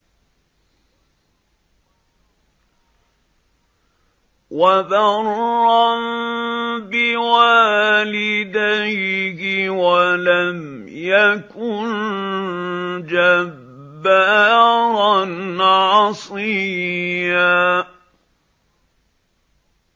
وَبَرًّا بِوَالِدَيْهِ وَلَمْ يَكُن جَبَّارًا عَصِيًّا